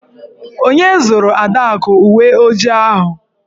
Onye zụụrụ Adaku uwe ojii ahụ?